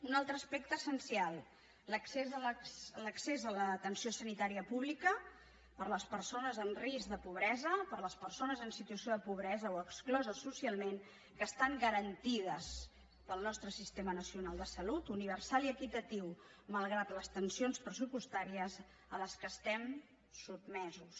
un altre aspecte essencial l’accés a l’atenció sanitària pública per a les persones amb risc de pobresa per a les persones en situació de pobresa o excloses socialment que estan garantides pel nostre sistema nacional de salut universal i equitatiu malgrat les tensions pressupostàries a les quals estem sotmesos